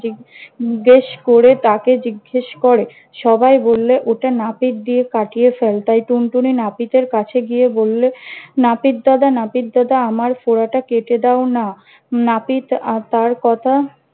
জিজ্ঞেস করে তাকে জিজ্ঞেস করে- সবাই বললে ওটা নাপিত দিতে কাটিয়ে ফেল। তাই, টুনটুনি নাপিতের কাছে গিয়ে বললে- নাপিত দাদা নাপিত দাদা আমার ফোঁড়াটা কেটে দাও না। নাপিত আহ তার কথা